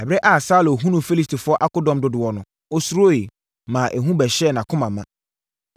Ɛberɛ a Saulo hunuu Filistifoɔ akodɔm dodoɔ no, ɔsuroeɛ, maa ehu bɛhyɛɛ nʼakoma ma.